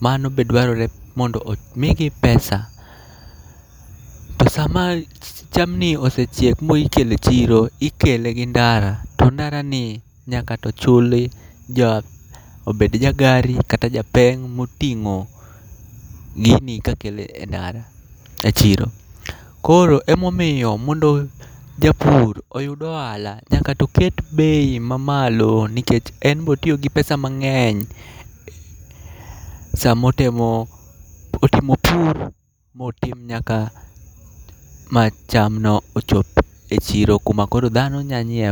Mano be dwarore mondo omigi pesa. To sama chamni osechiekl mo ikele chiro, ikele gi ndara, to ndara ni nyaka to chuli. Jo obed jagari, kata ja peng' moting'o gini kakele ndara e chiro. Koro emomiyo mondo japur oyud ohala, nyakato ket bei mamalo nikech en botiyo gi pesa mang'eny. Samo temo otimo pur motim nyaka macham no ochop e chiro kumakoro dhano nyanyiew.